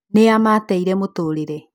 Nĩa mateire mũtũrire?